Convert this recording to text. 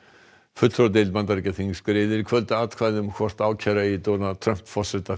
fulltrúadeild Bandaríkjaþings greiðir í kvöld atkvæði um hvort ákæra eigi Donald Trump forseta